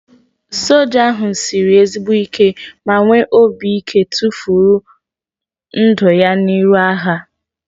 Soja ahu sịrị ezigbo ike ma nwee obi ike tụfuru ndụ ya n'iru agha